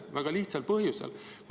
Seda väga lihtsal põhjusel.